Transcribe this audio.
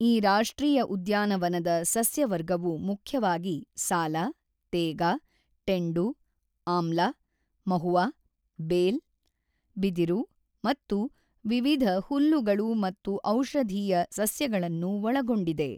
ಈ ರಾಷ್ಟ್ರೀಯ ಉದ್ಯಾನವನದ ಸಸ್ಯವರ್ಗವು ಮುಖ್ಯವಾಗಿ ಸಾಲ, ತೇಗ, ಟೆಂಡು, ಆಂಲ, ಮಹುವಾ, ಬೇಲ್, ಬಿದಿರು ಮತ್ತು ವಿವಿಧ ಹುಲ್ಲುಗಳು ಮತ್ತು ಔಷಧೀಯ ಸಸ್ಯಗಳನ್ನು ಒಳಗೊಂಡಿದೆ.